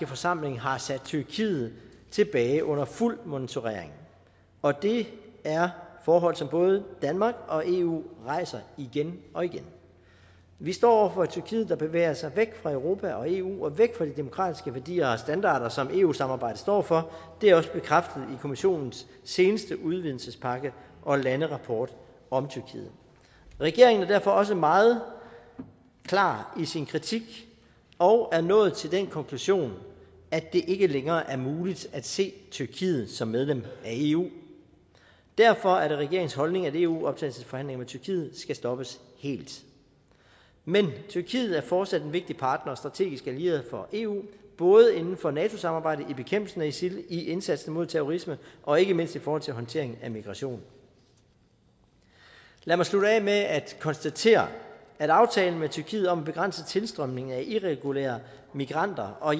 forsamling har sat tyrkiet tilbage under fuld monitorering og det er forhold som både danmark og eu rejser igen og igen vi står over for et tyrkiet der bevæger sig væk fra europa og eu og væk fra de demokratiske værdier og standarder som eu samarbejdet står for det er også bekræftet i kommissionens seneste udvidelsespakke og landerapport om tyrkiet regeringen er derfor også meget klar i sin kritik og er nået til den konklusion at det ikke længere er muligt at se tyrkiet som medlem af eu derfor er det regeringens holdning at eu optagelsesforhandlingerne med tyrkiet skal stoppes helt men tyrkiet er fortsat en vigtig partner og strategisk allieret for eu både inden for nato samarbejdet i bekæmpelsen af isil i indsatsen mod terrorisme og ikke mindst i forhold til håndteringen af migration lad mig slutte af med at konstatere at aftalen med tyrkiet om en begrænset tilstrømning af irregulære migranter og